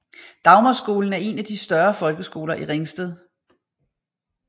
Dagmarskolen er en af de større folkeskoler i Ringsted